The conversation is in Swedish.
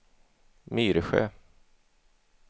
Myresjö